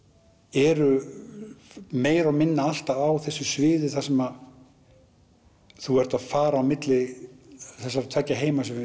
eru meira og minna alltaf á þessu sviði þar sem þú ert að fara á milli þessara tveggja heima sem við